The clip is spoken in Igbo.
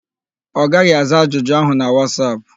Ọ gaghị aza ajụjụ áhụ̀ na Wasap.